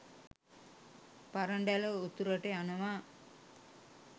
පරඬැල උතුරට යනවා.